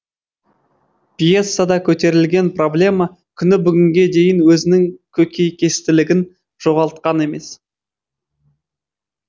пьесада көтерілген проблема күні бүгінге дейін өзінің көкейкестілігін жоғалтқан емес